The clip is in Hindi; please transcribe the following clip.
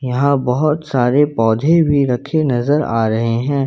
यहां बहोत सारे पौधे भी रखे नजर आ रहे हैं।